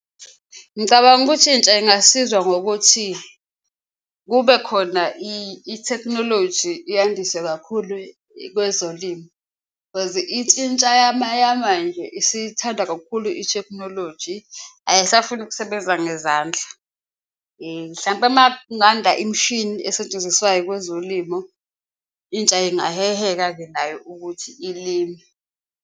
Ngicabanga ukuthi intsha ingasizwa ngokuthi kube khona ithekhinoloji yandise kakhulu kwezolimo cause intsha yamanje isithanda kakhulu ithekhinoloji, ayisafuni ukusebenza ngezandla. Hlampe uma kunganda imishini esetshenziswayo kwezolimo intsha ingaheheka-ke nayo ukuthi ilime.